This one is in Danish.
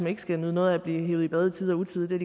ikke skal nyde noget af at blive hevet i bad i tide og utide det